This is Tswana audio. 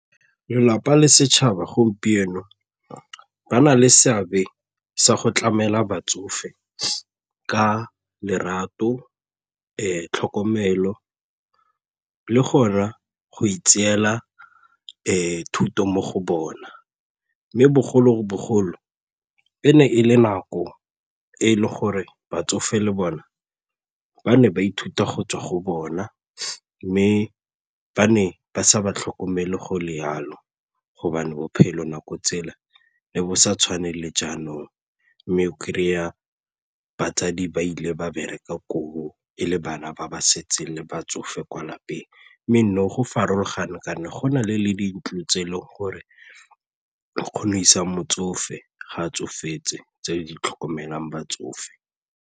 Lelapa le setšhaba gompieno ba na le seabe sa go tlamela batsofe ka lerato, tlhokomelo le gore go itseela thuto mo go bona mme bogologolo e ne e le nako e le gore batsofe le bona ba ne ba ithuta go tswa go bona mme ba ne ba sa ba tlhokomele go le jalo gobane bophelo nako tsela le bo sa tshwane le jaanong mme kry-a batsadi ba ile ba bereka koo e le bana ba ba setseng le batsofe kwa lapeng mme go farologana kana gona le dintlo tse e leng gore o kgona go isa motsofe ga a tsofetse tse di tlhokomelang batsofe.